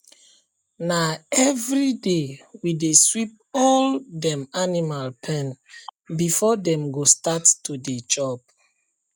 na everyday we dey sweep all dem animal pen before dem go start to dey chop